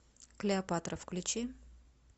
клеопатра включи